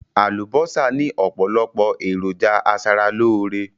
Àlùbọ́sà ni opolopo eroja asaraloore